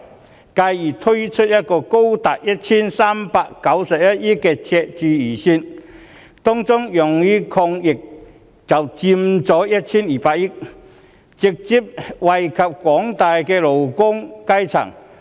司長而更推出一個高達 1,391 億元的赤字預算，當中用於抗疫的款額就佔 1,200 億元，直接惠及廣大的勞工階層。